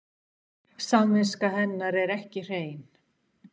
Samviska hennar er ekki hrein.